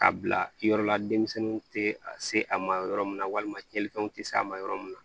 Ka bila yɔrɔ la denmisɛnninw tɛ a se a ma yɔrɔ min na walima tiɲɛnifɛnw tɛ se a ma yɔrɔ min na